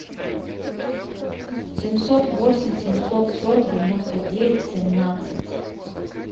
семьсот восемь семьсот сорок девяносто девять семнадцать